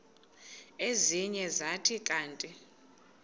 ezinye zathi kanti